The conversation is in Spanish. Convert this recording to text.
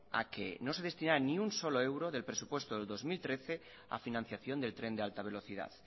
a que no se destinara ni un solo euro del presupuesto del dos mil trece a financiación del tren de alta velocidad